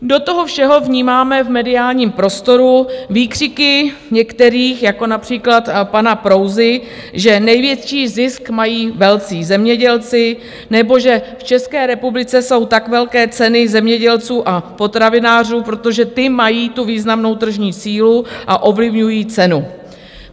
Do toho všeho vnímáme v mediálním prostoru výkřiky některých, jako například pana Prouzy, že největší zisk mají velcí zemědělci, nebo že v České republice jsou tak velké ceny zemědělců a potravinářů, protože ti mají tu významnou tržní sílu a ovlivňují cenu.